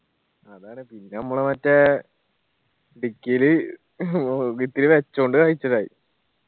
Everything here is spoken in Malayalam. അതാണ് പിന്നെ നമ്മള് മറ്റേ dicky ല് വെച്ചോണ്ട് കായിച്ചലായി